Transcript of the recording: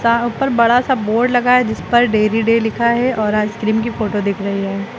यहाँ ऊपर बड़ा सा बोर्ड लगा है जीस पर डेरी डे लिखा है और आइसक्रीम की फोटो दिख रही है।